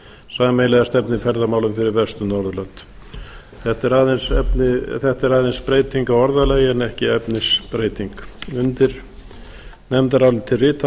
sameiginlega stefnu í ferðamálum fyrir vestur norðurlönd þetta er aðeins breyting á orðalagi en ekki efnisbreyting undir nefndarálitið rita